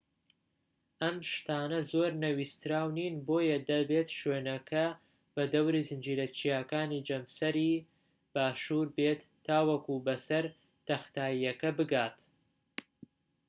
ئەم شتانە زۆر نەویستراو نین بۆیە دەبێت شوێنپێکە بە دەوری زنجیرە چیاکانی جەمسەری باشوور بێت تاوەکو بەسەر تەختاییەکە بگات